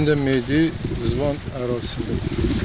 Bu gün də meyit Zvan ərazisində tapılıb.